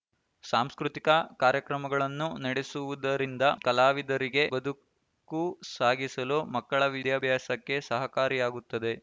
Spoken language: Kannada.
ಸಾಂಸ್ಕೃತಿಕ ಕಾರ್ಯಕ್ರಮಗಳನ್ನು ನಡೆಸುವುದರಿಂದ ಕಲಾವಿದರಿಗೆ ಬದುಕು ಸಾಗಿಸಲು ಮಕ್ಕಳ ವಿದ್ಯಾಭ್ಯಾಸಕ್ಕೆ ಸಹಕಾರಿಯಾಗುತ್ತದೆ